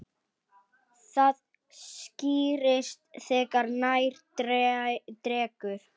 Það skýrist þegar nær dregur.